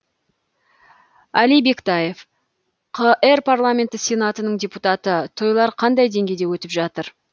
әли бектаев қр парламенті сенатының депутаты тойлар қандай деңгейде өтіп жатыр